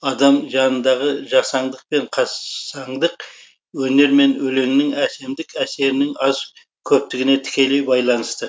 адам жанындағы жасаңдық пен қассаңдық өнер мен өлеңнің әсемдік әсерінің аз көптігіне тікелей байланысты